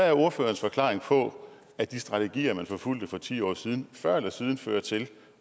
er ordførerens forklaring på at de strategier man forfulgte for ti år siden før eller siden fører til